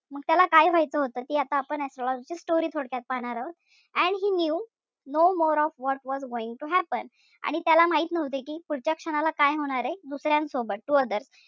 मग त्याला काय व्हायचं होत ते आता आपण astrologer ची story थोडक्यात पाहणार आहोत. And he knew no more of what was going to happen आणि त्याला माहित नव्हतं कि पुढच्या क्षणाला काय होणारे दुसर्यांसोबत to others.